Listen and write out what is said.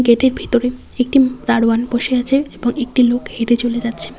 গেটের ভেতরে একটি দারোয়ান বসে আছে এবং একটি লোক হেঁটে চলে যাচ্ছে।